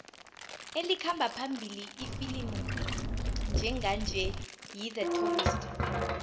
elikhamba phambili ifilimu njenganje yi the tourist